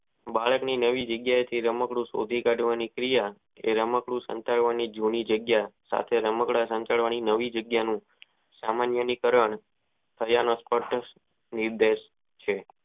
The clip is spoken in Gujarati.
બાળક ની નવી જગ્યા એ થી રમકડું શોધી કાઢવાની ક્રિયા કે રમકડું સાતળવાની જૂની જગ્યા સાથે રમકડાં સંતાડવા નવી જગ્યાનું સામાન્ય કારણ કરિયાનો ખોટો ઉપદેશ છે.